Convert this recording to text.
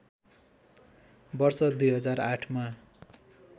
वर्ष २००८ मा